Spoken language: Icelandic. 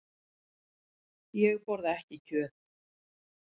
Ég borða ekki kjöt.